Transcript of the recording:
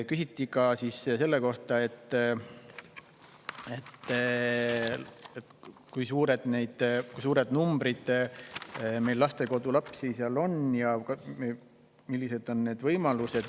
Küsiti ka selle kohta, kui palju meil lastekodulapsi on ja millised on nende võimalused.